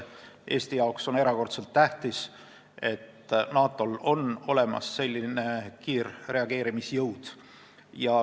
Eestile on see erakordselt tähtis, et NATO-l on olemas selline kiirreageerimisjõud.